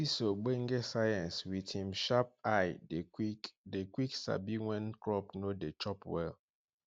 dis ogbonge science wit him sharp eye dey quick dey quick sabi wen crop no dey chop well